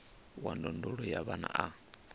wa ndondolo ya vhana a